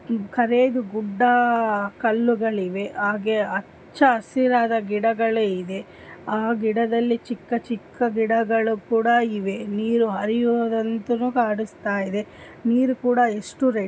ಖರೇದ್ ಗುಡ್ಡಾ ಕಲ್ಲುಗಳಿವೆ ಹಾಗೆ ಅಚ್ಚ್ಚ ಹಸಿರಾದ ಗಿಡಗಳ ಇದೆ. ಆ ಗಿಡದಲ್ಲಿ ಚಿಕ್ಕ ಚಿಕ್ಕ ಗಿಡಗಳು ಕೂಡಾ ಇವೆ. ನೀರು ಹರಿಯುವುದಂತನು ಕಾಣಸ್ತಾಯಿದೆ. ನೀರ್ ಕೂಡಾ ಇಷ್ಟು ರೇ --